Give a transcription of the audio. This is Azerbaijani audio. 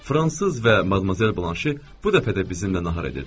Fransız və Madmazel Banşel bu dəfə də bizimlə nahar edirdilər.